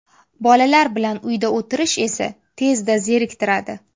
Bolalar bilan uyda o‘tirish esa tezda zeriktiradi.